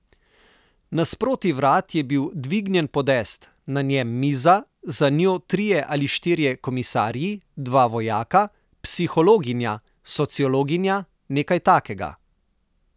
Nasproti vrat je bil dvignjen podest, na njem miza, za njo trije ali štirje komisarji, dva vojaka, psihologinja, sociologinja, nekaj takega.